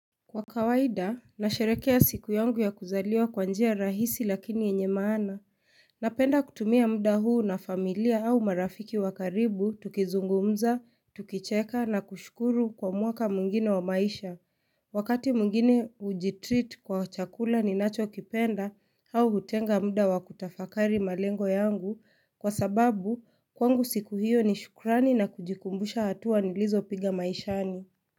Kwa kawaida, nasheherekea siku yangu ya kuzaliwa kwa njia rahisi lakini yenye maana. Napenda kutumia muda huu na familia au marafiki wa karibu tukizungumza, tukicheka na kushukuru kwa mwaka mwingine wa maisha. Wakati mwingine hujitreat kwa chakula ninachokipenda au hutenga muda wa kutafakari malengo yangu kwa sababu kwangu siku hiyo ni shukrani na kujikumbusha hatua nilizopiga maishani.